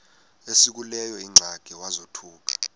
esekuleyo ingxaki wazothuka